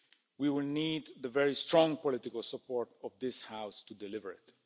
We will need the very strong political support of this House to deliver it.